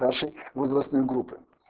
нашей возрастной группы